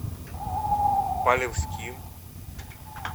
полевским